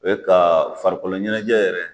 U ye ka farikolo ɲɛnajɛ yɛrɛ